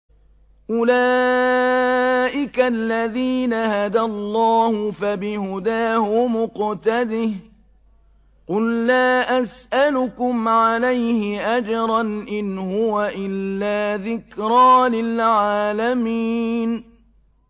أُولَٰئِكَ الَّذِينَ هَدَى اللَّهُ ۖ فَبِهُدَاهُمُ اقْتَدِهْ ۗ قُل لَّا أَسْأَلُكُمْ عَلَيْهِ أَجْرًا ۖ إِنْ هُوَ إِلَّا ذِكْرَىٰ لِلْعَالَمِينَ